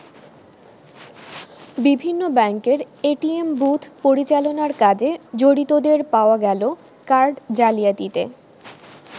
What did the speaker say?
বিভিন্ন ব্যাংকের ATM booth পরিচালনার কাজে জড়িতদের পাওয়া গেল কার্ড জালিয়াতিতে।